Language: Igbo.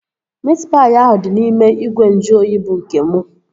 Miit paị ahụ dị n'ime ìgwè nju oyi bụ nke mụ